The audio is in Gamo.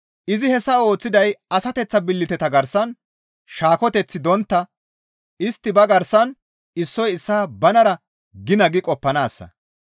Izi hessa ooththiday asateththa billiteta garsan shaaketeththi dontta istti ba garsan issoy issaa banara gina gi qoppanaassa.